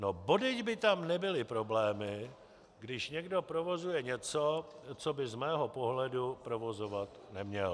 No bodejť by tam nebyly problémy, když někdo provozuje něco, co by z mého pohledu provozovat neměl.